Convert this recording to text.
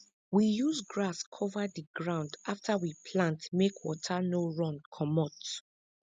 we use grass cover di ground afta we plant make water no run comot